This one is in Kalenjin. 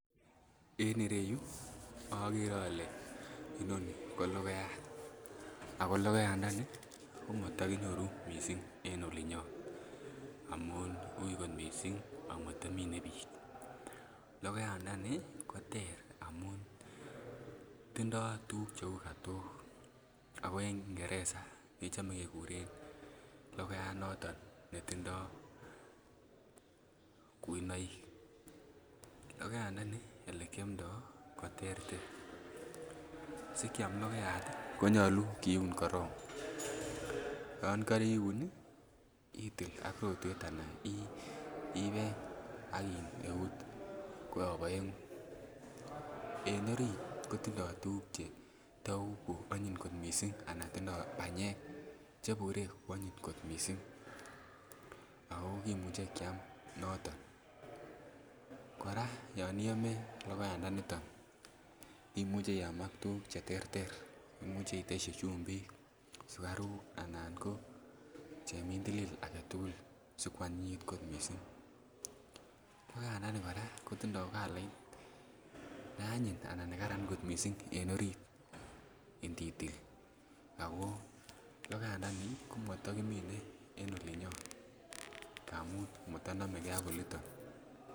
En ireyu okere olee inoni ko lokoyat ak ko lokoyandani ko motokinyoru mising en olinyon amun uuii kot mising amatomine biik, lokoyandani koter amun tindo tukuk cheuu kotok ak ko en kingereza kechome kekuren lokoyat noton netindo kuinoik, lokoyandani olekiomndo koterter, sikiam lokoyat konyolu kiun korong, yoon koriun itil ak rotwet anan ikeny ak iun eut koyob oengu, en oriit kotindo tukuk chetou cheonyiny kot mising anan tindo banyek chebure kwonyiny kot mising ak kokimuche kiam noton, koraa yoon iome lokoyandaniton imuche iyam ak tukuk cheterter, imuche itesyi chumbik, sikaruk anan ko chemintilil aketukul sikwa nyinyit kot mising, lokoyandani kora kotindo kolait neanyiny anan nekaran kot mising en oriit, inditil ak ko lokoyandani komotokimine mising en olinyon amun motonomekee ak oliton.